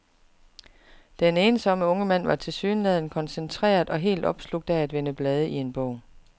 Den ensomme unge mand var tilsyneladende koncentreret og helt opslugt af at vende blade i en bog.